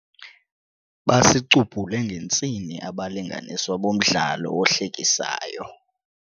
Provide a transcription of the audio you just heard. Basicubhule ngentsini abalinganiswa bomdlalo ohlekisayo.